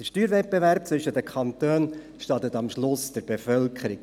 Der Steuerwettbewerb zwischen den Kantonen schadet am Ende der Bevölkerung.